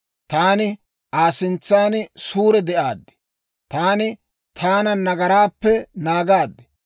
Taani Aa sintsan suure de'aaddi; taani taana nagaraappe naagaad.